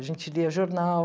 A gente lia jornal